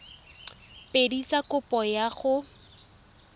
pedi tsa kopo ya go